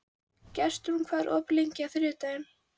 Gestrún, hvað er opið lengi á þriðjudaginn?